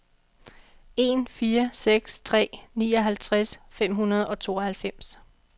en fire seks tre nioghalvtreds fem hundrede og tooghalvfems